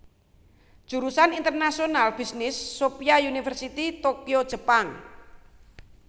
Jurusan International Business Sophia University Tokyo Jepang